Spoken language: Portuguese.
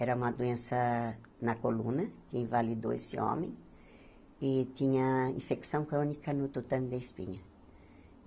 Era uma doença na coluna, que invalidou esse homem, e tinha infecção crônica no tutano da espinha.